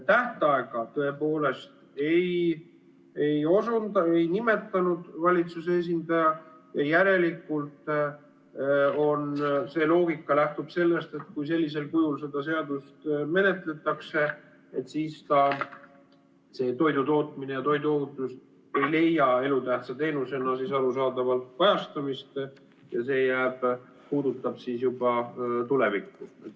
Tähtaega valitsuse esindaja ei nimetanud, järelikult see loogika lähtub sellest, et kui sellisel kujul seda seadust menetletakse, siis toidutootmine ja toiduohutus ei leia elutähtsa teenusena arusaadavalt kajastamist ja see puudutab siis juba tulevikku.